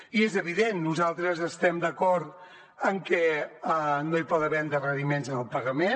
i és evident nosaltres estem d’acord en que no hi pot haver endarreriments en el pagament